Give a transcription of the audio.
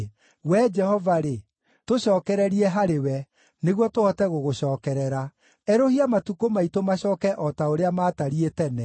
Wee Jehova-rĩ, tũcookererie harĩwe, nĩguo tũhote gũgũcookerera; erũhia matukũ maitũ macooke o ta ũrĩa matariĩ tene,